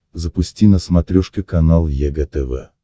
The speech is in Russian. запусти на смотрешке канал егэ тв